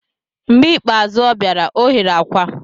Mgbe ikpeazụ ọ bịara, ọ ghere akwa.